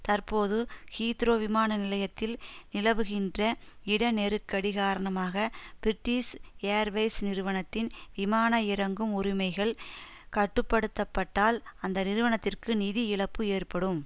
தற்போது ஹீத்ரோ விமான நிலையத்தில் நிலவுகின்ற இட நெருக்கடி காரணமாக பிரிட்டிஸ் ஏர்வைஸ் நிறுவனத்தின் விமான இறங்கும் உரிமைகள் கட்டுப்படுத்தப்பட்டால் அந்த நிறுவனத்திற்கு நிதி இழப்பு ஏற்படும்